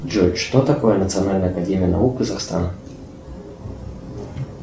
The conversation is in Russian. джой что такое национальная академия наук казахстана